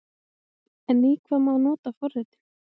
En í hvað má nota forritin?